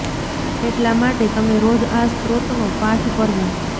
એટલા માટે તમે રોજ આ સ્ત્રોત નો પાઠ કરવો